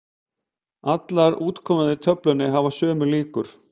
Allar útkomurnar í töflunni hafa sömu líkur.